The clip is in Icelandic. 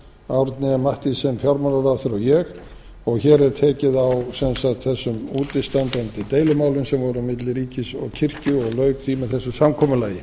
árni m mathiesen fjármálaráðherra og ég og hér er tekið á sem lagt þessum útistandandi deilumálum sem voru á milli ríkis og kirkju og lauk því með þessu samkomulagi